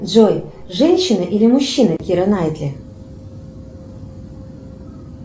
джой женщина или мужчина кира найтли